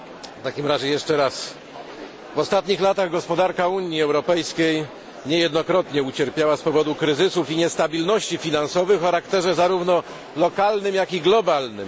W takim razie zabiorę głos jeszcze raz w ostatnich latach gospodarka Unii Europejskiej niejednokrotnie ucierpiała z powodu kryzysów i niestabilności finansowych o charakterze zarówno lokalnym, jak i globalnym.